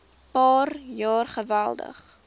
paar jaar geweldig